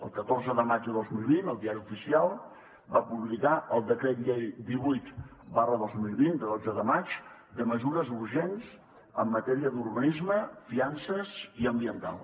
el catorze de maig de dos mil vint el diari oficial va publicar el decret llei divuit dos mil vint de dotze de maig de mesures urgents en matèria d’urbanisme fiances i ambiental